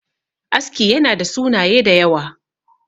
aski yana da sunaye da yawa